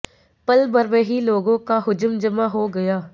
पल भर में ही लोगों को हुजूम जमा हो गया